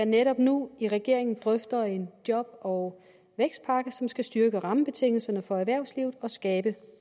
netop nu i regeringen drøfter en job og vækstpakke som skal styrke rammebetingelserne for erhvervslivet og skabe